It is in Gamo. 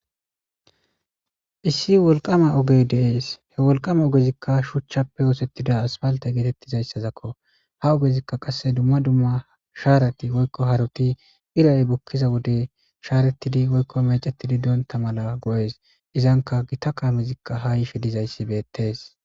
Issi woliqama ogey deessi he woliqama ogezzikka shuchchappe. oththetida assipalite getetizayisakko ha ogezzikka qase dumma dumma sharat woyikko harot bukiza wode sharetid woyikko meccetid bonita mala goesi izanika gita kamezikka ha yishe dizayisi deesi